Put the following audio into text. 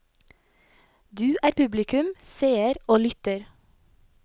Du er publikum, seer og lytter.